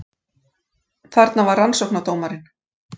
Þarna var rannsóknardómarinn